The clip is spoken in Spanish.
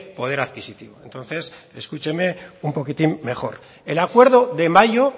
poder adquisitivo entonces escúcheme un poquitín mejor el acuerdo de mayo